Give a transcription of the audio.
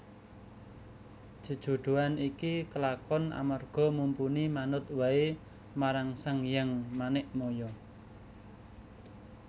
Jejodhoan iki kelakon amarga Mumpuni manut waé marang Sanghyang Manikmaya